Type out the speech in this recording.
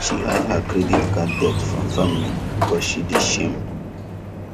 she hide her credit card debt from family because she dey shame